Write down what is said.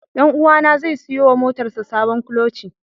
Ɗanuwa na zai siyo wa motar sa sabon kuloci.